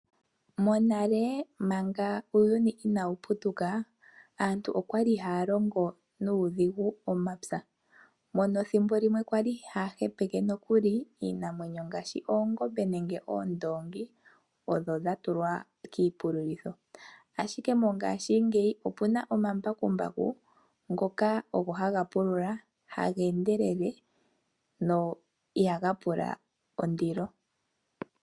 Monale manga uuyuni inawuputuka, aantu okwali haya longo nuudhigu omapya mono thimbo limwe kwali haya hepeke nokuli iinamwenyo ngaashi, oongombe nenge oondoongi odho dhatulwa kiipululitho. Ashike mongashingeyi opuna omambakumbaku ngoka ogo hagapulula haga endelele na ihagapula ondilo.